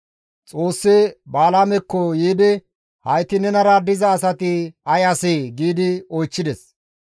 Xoossi Balaamekko yiidi, «Hayti nenara diza asati ay asee?» giidi oychchides.